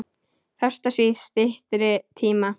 Festa sig í styttri tíma.